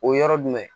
O yɔrɔ jumɛn